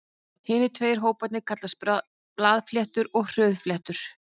Hinir tveir hóparnir kallast blaðfléttur og hrúðurfléttur.